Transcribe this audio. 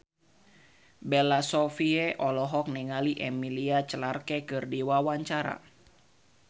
Bella Shofie olohok ningali Emilia Clarke keur diwawancara